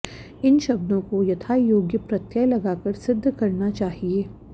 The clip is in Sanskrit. इन शब्दों को यथायोग्य प्रत्यय लगाकर सिद्ध करना चाहिए